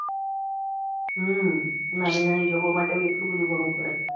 હમ નાની નાની જોબો માટે ભી આટલું બધું ભણવું પડે